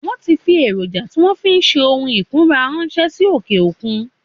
Wọ́n ti fi Èròjà tí wọn fi ń ṣe ohun ìkunra ránṣẹ́ sí òkè òkun